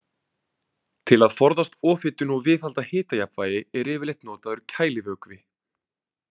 Til að forðast ofhitun og viðhalda hitajafnvægi er yfirleitt notaður kælivökvi.